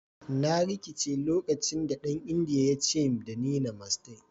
"Na rikice lokacin da dan indiyan ya ce da ni "Namaste"."